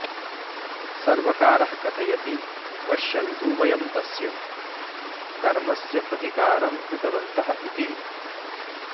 सर्वकारः कथयति पश्यन्तु वयं तस्य कर्मस्य प्रतिकारं कृतवन्तः इति